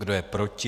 Kdo je proti?